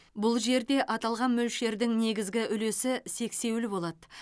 бұл жерде аталған мөлшердің негізгі үлесі сексеуіл болады